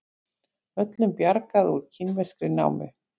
Öllum bjargað úr kínverskri námu